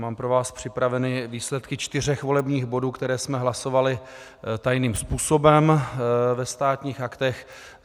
Mám pro vás připraveny výsledky čtyř volebních bodů, které jsme hlasovali tajným způsobem ve Státních aktech.